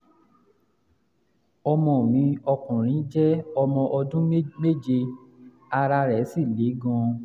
ọmọ mi ọkùnrin jẹ́ ọmọ ọdún méje ara rẹ̀ sì le gan-an